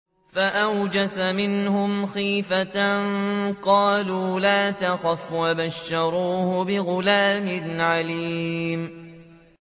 فَأَوْجَسَ مِنْهُمْ خِيفَةً ۖ قَالُوا لَا تَخَفْ ۖ وَبَشَّرُوهُ بِغُلَامٍ عَلِيمٍ